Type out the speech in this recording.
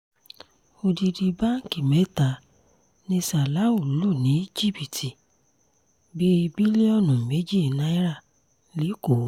odidi báǹkì mẹ́ta ni salau lù ní jìbìtì bíi bílíọ̀nù méjì náírà lẹ́kọ̀ọ́